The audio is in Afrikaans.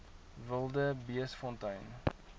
wildebeestfontein